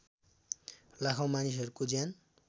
लाखौँ मानिसहरूको ज्यान